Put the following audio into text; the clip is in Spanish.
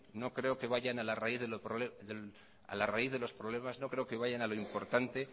no creo que vayan a la raíz de los problemas no creo que vayan a lo importante